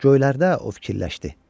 Göylərdə o fikirləşdi.